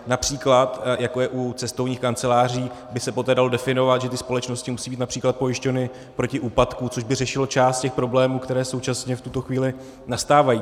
Například jako je u cestovních kanceláří, aby se poté dalo definovat, že ty společnosti musí být například pojištěny proti úpadku, což by řešilo část těch problémů, které současně v tuto chvíli nastávají.